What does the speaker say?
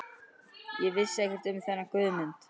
Ég vissi ekkert um þennan Guðmund